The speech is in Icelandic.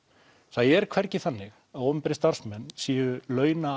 það er hvergi þannig að opinberir starfsmenn séu